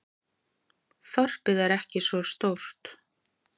Þorpið er ekki svo stórt.